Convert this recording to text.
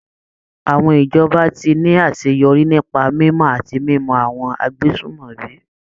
Àwọn ìjọba tí ní àṣeyọrí nípa mímọ̀ àti mímú àwọn agbésùmọ̀mí.